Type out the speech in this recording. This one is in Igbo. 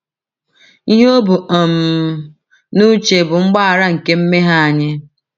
Ihe o bu um n’uche bụ mgbaghara nke mmehie anyị.